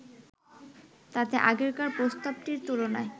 তাতে আগেকার প্রস্তাবটির তুলনায়